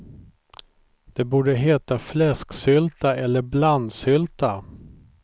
Det borde heta fläsksylta eller blandsylta.